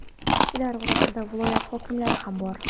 Ular orasida viloyat hokimlari ham bor.